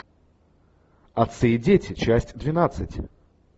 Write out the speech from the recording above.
отцы и дети часть двенадцать